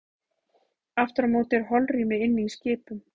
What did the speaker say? Aftur á móti er holrými inni í skipum.